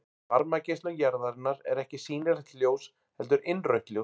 Varmageislun jarðarinnar er ekki sýnilegt ljós heldur innrautt ljós.